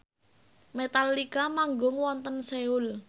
Metallica manggung wonten Seoul